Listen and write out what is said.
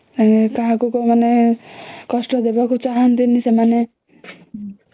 ଆଉ କାହାକୁ ସେମାନେ କଷ୍ଟ ଦେବାକୁ ଚା ହଅନ୍ତିନି ସେମାନେ